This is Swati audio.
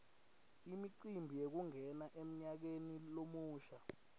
imicimbi yekungena emnyakeni lomusha